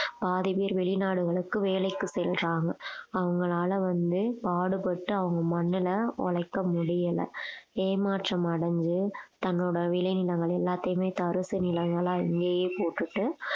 பாதி பேர் வெளிநாடுகளுக்கு வேலைக்கு செல்றாங்க அவங்களால வந்து பாடுபட்டு அவங்க மண்ணுல உழைக்க முடியலை ஏமாற்றம் அடைஞ்சு தன்னோட விளைநிலங்கள் எல்லாத்தையுமே தரிசு நிலைகளா இங்கேயே போட்டுட்டு